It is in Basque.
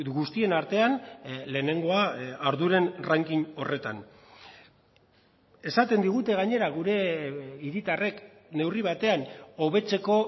guztien artean lehenengoa arduren ranking horretan esaten digute gainera gure hiritarrek neurri batean hobetzeko